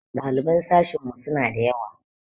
Ɗaliban sashinmu suna da yawa.